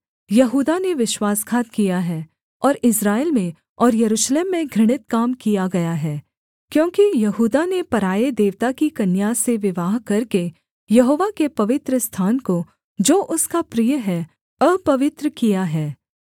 यहूदा ने विश्वासघात किया है और इस्राएल में और यरूशलेम में घृणित काम किया गया है क्योंकि यहूदा ने पराए देवता की कन्या से विवाह करके यहोवा के पवित्रस्थान को जो उसका प्रिय है अपवित्र किया है